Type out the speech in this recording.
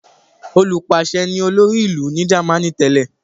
Olùpàṣẹ ni olórí ìlú ní Jámánì tẹ́lẹ̀.